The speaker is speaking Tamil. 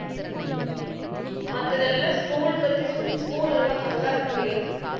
மத்ததெல்லாம் school பத்தி சு~ school எல்லாம் நல்லா இருக்குடி